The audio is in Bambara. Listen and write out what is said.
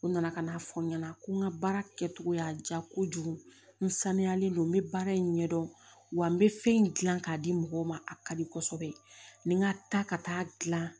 U nana ka n'a fɔ n ɲɛna ko n ka baara kɛcogo y'a diya kojugu n saniyalen do n bɛ baara in ɲɛdɔn wa n bɛ fɛn in gilan k'a di mɔgɔw ma a ka di kɔsɛbɛ ni n ka taa ka taa gilan